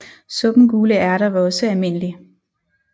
Suppen gule ærter var også almindelig